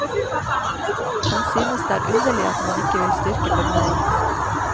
Han synes det er underlig at man ikke vil styrke bemanningen.